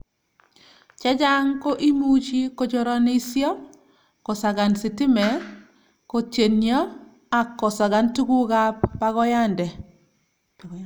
che chang' ko imuchi kochoranisio, kosakan sitime, kotyenio ak kosakan tugukab bakoyande